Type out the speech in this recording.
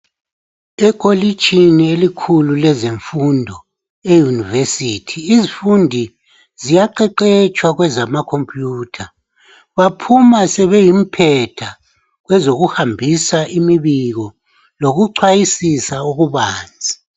Ekolitshini elikhulu lezemfundo euniversity izifundi ziyaqeqetshwa kwezama khompuyutha baphuma sebengomphetha kwezoku hambisa imbiko lokuchwayisisa okubanzi.